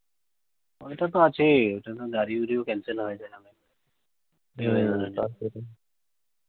অইটা তো আছেই। ওইটার জন্য গাড়িগুড়িও cancel হয়ে যায় মাঝেমাঝে। এই weather এর জন্য।